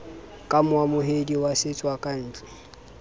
ka moamohedi wa setswakantle ho